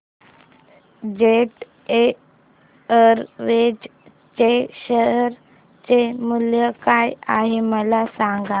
jet Airways च्या share चे मूल्य काय आहे मला सांगा